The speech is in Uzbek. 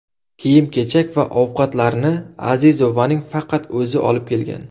Kiyim-kechak va ovqatlarni Azizovaning faqat o‘zi olib kelgan.